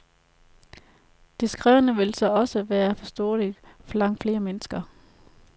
Det skrevne vil så også være forståeligt for langt flere mennesker.